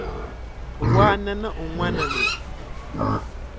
wana na un wana loyi